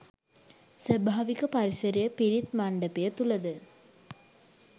ස්වභාවික පරිසරය පිරිත් මණ්ඩපය තුළද